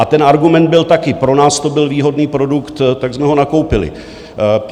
A ten argument byl taky - pro nás to byl výhodný produkt, tak jsme ho nakoupili.